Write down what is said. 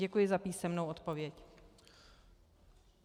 Děkuji za písemnou odpověď.